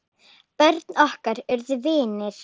Börnin okkar urðu vinir.